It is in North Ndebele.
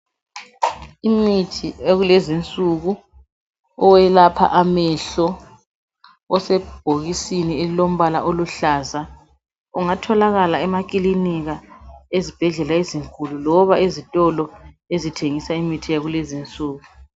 Umuthi wakulezi insuku owelapha amehlo osebhokisini olombala oluhlaza ungatholakala emaclinika ezibhedlela ezinkulu loba ezitolo ezithengisa imithi yakulezi insuku